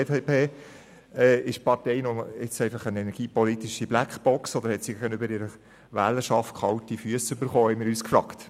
Wir haben uns gefragt, ob die Partei nun eine energiepolitische Blackbox ist oder ob sie gegenüber ihrer Wählerschaft kalte Füsse bekommen hat.